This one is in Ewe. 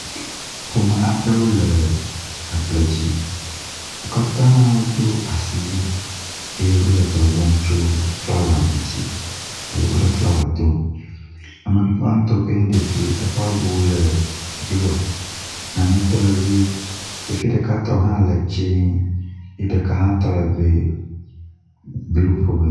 Ƒome aɖewo le agble dzi. Wo katã wodo asiwui eye wo le dɔ wɔm tso flawa ŋutsi alo wo le flawa dom. Ame gbatɔ si nye ɖevi eƒe awu le blɔ, nane tɔ le ʋi, ɖevi ɖeka tɔ hã le dze eye ɖeka tɔ le be blu ƒomevi.